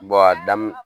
a daminɛ